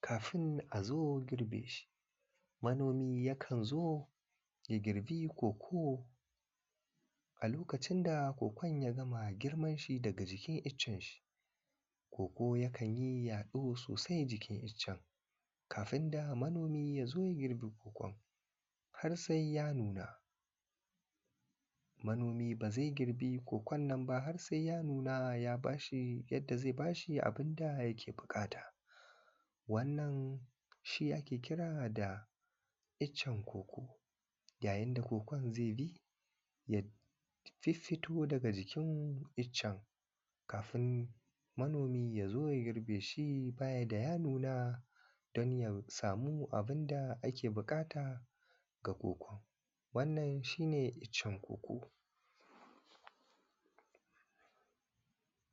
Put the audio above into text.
kafin zo girbe shi manomi ya zo ya girbi koko tunda kokon ya gama gidan daga jikin iccen shi. koko yakan yi yaɗo sosai jikin iccen kafin da manomi can ya zo ya girbi kokon har sai ya nuna. Manomi ba zai girbi kokon nan ba har sai ya nuna yadda zai ba shi abun da yake buƙata wannan shi ake kira da iccen koko ga yadda kokon zai bi ya fiffito daga jikin iccen kafin manomi ya zo ya girbi baya da ya nuna a samu abun da ake buƙata ga koko wannan shi ne iccen koko.